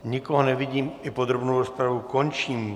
Nikoho nevidím, i podrobnou rozpravu končím.